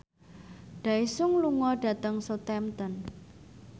Daesung lunga dhateng Southampton